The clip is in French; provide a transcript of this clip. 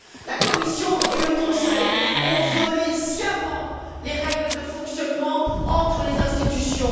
La Commission et le Conseil ont violé sciemment les règles de fonctionnement entre les institutions.